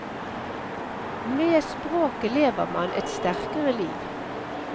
Med språket lever man et sterkere liv.